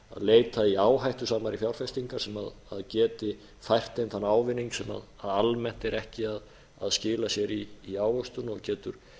leita í áhættusamari fjárfestingar sem geti fært þeim þann ávinning sem almennt er ekki að skila sér í ávöxtun og getur